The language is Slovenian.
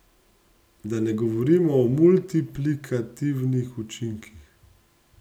Da ne govorimo o multiplikativnih učinkih!